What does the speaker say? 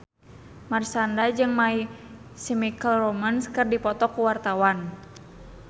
Marshanda jeung My Chemical Romance keur dipoto ku wartawan